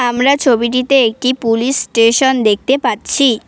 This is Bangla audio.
আমরা ছবিটিতে একটি পুলিশ স্টেশন দেখতে পাচ্ছি।